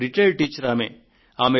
విశ్రాంత ఉపాధ్యాయురాలు ఆమె